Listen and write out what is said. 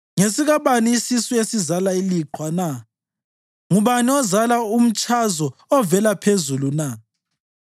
Ngesikabani isisu esizala iliqhwa na? Ngubani ozala umtshazo ovela phezulu na